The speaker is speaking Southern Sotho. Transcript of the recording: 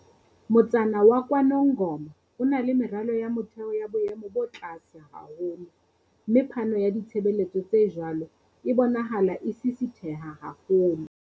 Motsana wa KwaNongoma o na le meralo ya motheo ya boemo bo tlase haholo, mme phano ya ditshebeletso tse jwalo e bonahala e sisitheha haholo.